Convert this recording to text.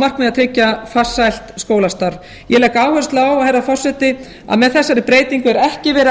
markmiði að tryggja farsælt skólastarf ég legg áherslu á herra forseti að með þessari breytingu er ekki verið að